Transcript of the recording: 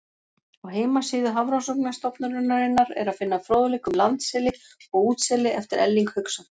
Á heimasíðu Hafrannsóknastofnunarinnar er að finna fróðleik um landseli og útseli eftir Erling Hauksson.